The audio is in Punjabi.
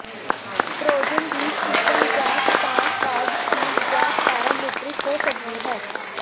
ਟ੍ਰੋਜਨ ਦੀ ਕਿਸਮ ਜਾਂ ਤਾਂ ਕਾਰਜਸ਼ੀਲ ਜਾਂ ਪੈਰਾਮੀਟਰਿਕ ਹੋ ਸਕਦੀ ਹੈ